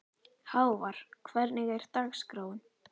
Hávar, hvernig er dagskráin?